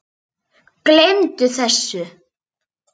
Gleymdu þessu.